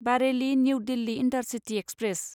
Bareilly New Delhi intercity express